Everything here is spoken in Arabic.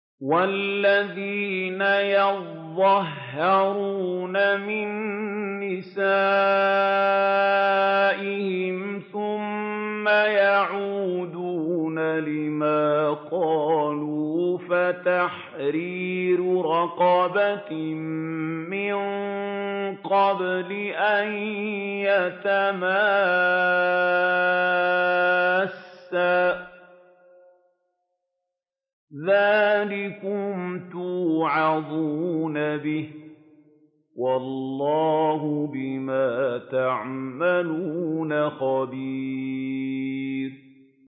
وَالَّذِينَ يُظَاهِرُونَ مِن نِّسَائِهِمْ ثُمَّ يَعُودُونَ لِمَا قَالُوا فَتَحْرِيرُ رَقَبَةٍ مِّن قَبْلِ أَن يَتَمَاسَّا ۚ ذَٰلِكُمْ تُوعَظُونَ بِهِ ۚ وَاللَّهُ بِمَا تَعْمَلُونَ خَبِيرٌ